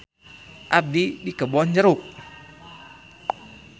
Abdi di Kebon Jeruk.